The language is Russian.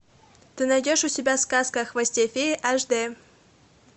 ты найдешь у себя сказка о хвосте феи аш д